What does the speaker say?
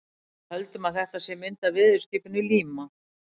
Við höldum að þetta sé mynd af veðurskipinu Líma.